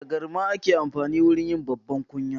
Da garma ake amfani wajen yi babbar kunya.